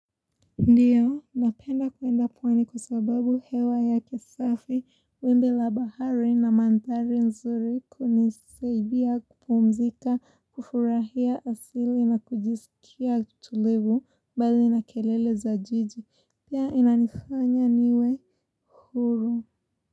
Ndiyo, napenda kuenda pwani kwa sababu hewa yake safi, wimbi la bahari na mandhari nzuri kunisaidia kupumzika, kufurahia asili na kujisikia tulivu bali na kelele za jiji. Pia inanifanya niwe huru.